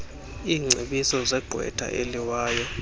iingcebiso zegqwetha eliwayo